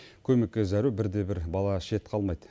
көмекке зәру бір де бір бала шет қалмайды